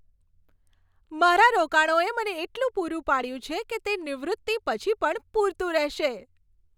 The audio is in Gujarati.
મારા રોકાણોએ મને એટલું પૂરું પાડ્યું છે કે તે નિવૃત્તિ પછી પણ પૂરતું રહેશે.